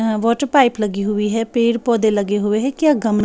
अ water pipe लगी हुई है पेड़ पौधे लगे हुए हैं क्या गम--